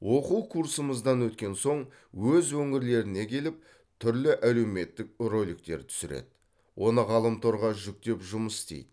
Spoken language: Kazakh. оқу курсымыздан өткен соң өз өңірлеріне келіп түрлі әлеуметтік роликтер түсіреді оны ғаламторға жүктеп жұмыс істейді